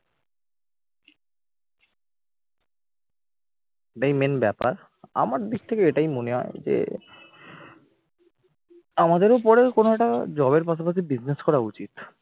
এটাই main ব্যাপার, আমার দিক থেকে এটাই মনে হয় যে, আমাদের ও পরে কোন একটা job এর পাশাপাশি business করা উচিত